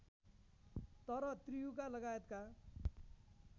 तर त्रियुगा लगायतका